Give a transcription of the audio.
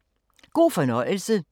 God fornøjelse.